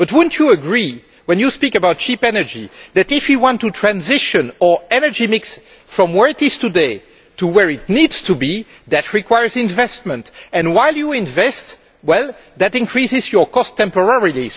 But would you not agree, when you talk about cheap energy, that if you want to transition our energy mix from where it is today to where it needs to be, that requires investment, and while you invest, that increases your costs temporarily.